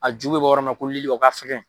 A ju bɛ bɔ yɔrɔ min na ko lili o ka fɛkɛn.